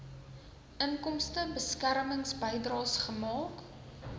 inkomstebeskermings bydraes gemaak